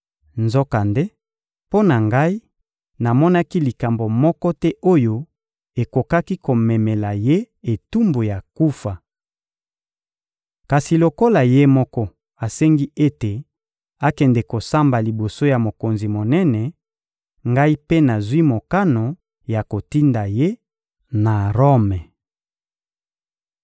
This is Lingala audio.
Nzokande, mpo na ngai, namonaki likambo moko te oyo ekokaki komemela ye etumbu ya kufa. Kasi lokola ye moko asengi ete akende kosamba liboso ya mokonzi monene, ngai mpe nazwi mokano ya kotinda ye na Rome.